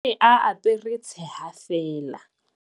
o ne a apare tsheha feela